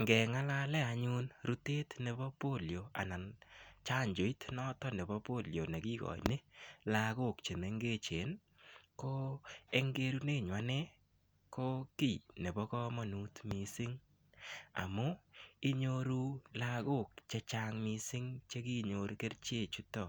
Ngeng'alalen anyun chanjoit nebo Polio nekikoin lagok chemengechen ko en kerenyun ane ko kiit nebo kamanut missing amun lagok chechang' missing chekinyor kerichek chuton